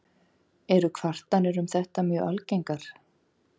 Eru kvartanir um þetta mjög algengar.